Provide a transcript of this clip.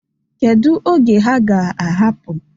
Kedu oge ha ga-ahapụ?